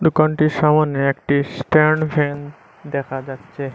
দোকানটির সামনে একটি স্ট্যান্ড ফ্যান দেখা যাচ্ছে।